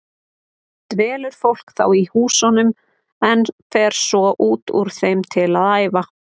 Dvelur fólk þá í húsunum en fer svo út úr þeim til að æfa.